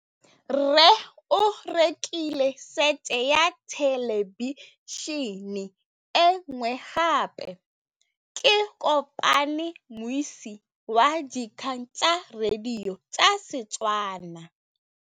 Rre o rekile sete ya thêlêbišênê e nngwe gape. Ke kopane mmuisi w dikgang tsa radio tsa Setswana.